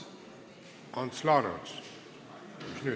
Ants Laaneots, mis nüüd?